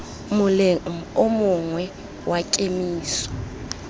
moleng o mongwe wa kemiso